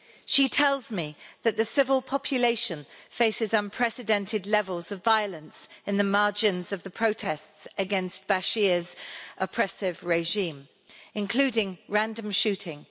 She tells me that the civil population faces unprecedented levels of violence in the margins of the protests against al-Bashir's oppressive regime, including random shooting.